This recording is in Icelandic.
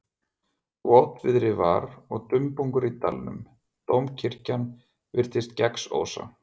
Votviðri var og dumbungur í dalnum, dómkirkjan virtist gegnsósa.